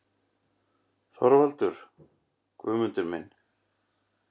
ÞORVALDUR: Guðmundur minn!